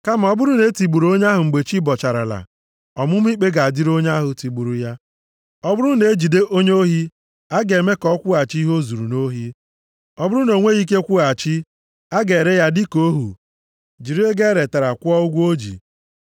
Kama ọ bụrụ na e tigburu onye ahụ mgbe chi bọcharala, ọmụma ikpe ga-adịrị onye ahụ tigburu ya. “Ọ bụrụ na e jide onye ohi, a ga-eme ka ọ kwụghachi ihe o zuru nʼohi. Ọ bụrụ na o nweghị ike kwụghachi, a ga-ere ya dịka ohu, jiri ego e retara kwụọ ụgwọ o ji.